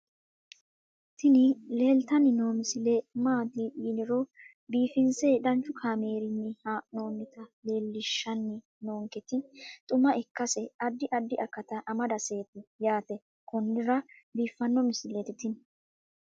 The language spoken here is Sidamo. tini leeltanni noo misile maaati yiniro biifinse danchu kaamerinni haa'noonnita leellishshanni nonketi xuma ikkase addi addi akata amadaseeti yaate konnira biiffanno misileeti tini